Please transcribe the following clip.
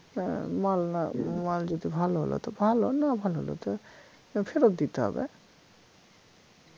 আহ মাল না মাল ‍যদি ভালো হল তো ভাল না ভাল হলে তো ফেরত দিতে হবে